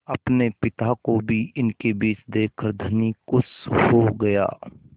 अपने पिता को भी इनके बीच देखकर धनी खुश हो गया